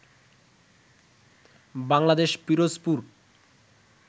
Bangladesh Pirojpur